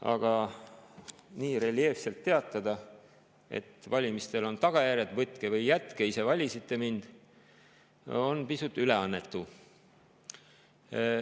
Aga teatada nii reljeefselt, et valimistel on tagajärjed, võtke või jätke, ise valisite mind, on pisut üleannetu.